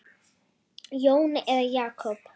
Jón eða Jakob?